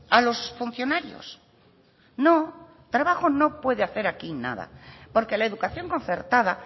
a los funcionarios no trabajo no puede hacer aquí nada porque la educación concertada